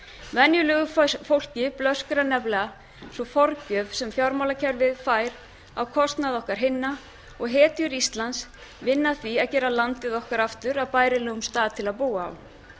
og ekki lengra venjulegu fólki blöskrar nefnilega sú forgjöf sem fjármálakerfið fær á kostnað okkar hinna og hetjur íslands vinna að því að gera landið okkar aftur að bærilegum stað til að búa